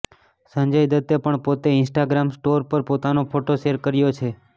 સંજય દત્તે પણ પોતે ઈન્સ્ટાગ્રામ સ્ટોર પર પોતાનો ફોટો શેયર કર્યો છે